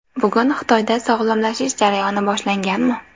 Bugun Xitoyda sog‘lomlashish jarayoni boshlanganmi?